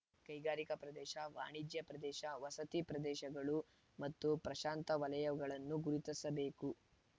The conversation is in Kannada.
ಕೈಗಾರಿಕಾ ಪ್ರದೇಶ ವಾಣಿಜ್ಯ ಪ್ರದೇಶ ವಸತಿ ಪ್ರದೇಶಗಳು ಮತ್ತು ಪ್ರಶಾಂತ ವಲಯಗಳನ್ನು ಗುರುತಿಸಬೇಕು